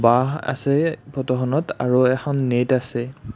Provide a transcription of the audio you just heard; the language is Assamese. বাঁহ আছে ফটোখনত আৰু এখন নেট আছে।